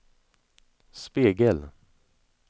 spegel